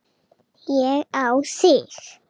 Ég á þig.